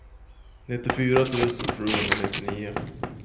nittiofyra tusen sjuhundranittionio